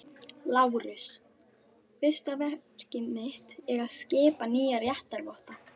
LÁRUS: Fyrsta verk mitt er að skipa nýja réttarvotta.